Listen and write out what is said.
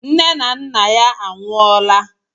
Nne na nna ya anwụọla